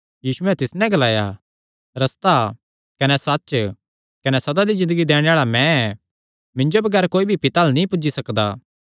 यीशुयैं तिस नैं ग्लाया रस्ता कने सच्च कने सदा दी ज़िन्दगी दैणे आल़ा मैं ऐ मिन्जो बगैर कोई भी पिता अल्ल नीं पुज्जी सकदा